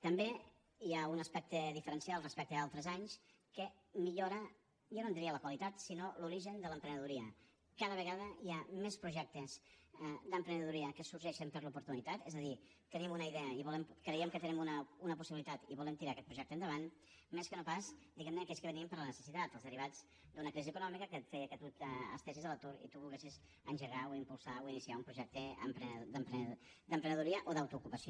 també hi ha un aspecte diferencial respecte a altres anys que millora jo no en diria la qualitat sinó l’origen de l’emprenedoria cada vegada hi ha més projectes d’emprenedoria que sorgeixen per l’oportunitat és a dir tenim una idea creiem que tenim una possibilitat i volem tirar aquest projecte endavant més que no pas diguem ne aquells que venien per la necessitat els derivats d’una crisi econòmica que feia que tu estiguessis a l’atur i tu volguessis engegar o impulsar o iniciar un projecte d’emprenedoria o d’autoocupació